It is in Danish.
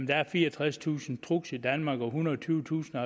der er fireogtredstusind trucks i danmark og at ethundrede og tyvetusind